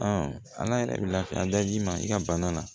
ala yɛrɛ bɛ lafiya da d'i ma i ka bana na